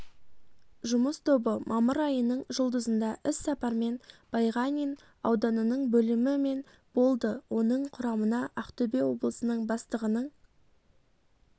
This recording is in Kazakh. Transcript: жұмыс тобы мамыр айының жұлдызында іс сапармен байғанин ауданының бөлімі мен болды оның құрамына ақтөбе облысының бастығының